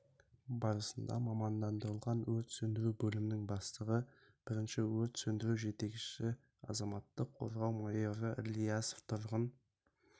барысында мамандандырылған өрт сөндіру бөлімінің бастығы бірінші өрт сөндіру жетекшісі азаматтық қорғау майоры ілиясов тұрғын